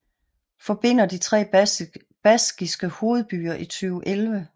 Forbinder de tre baskiske hovedbyer i 2011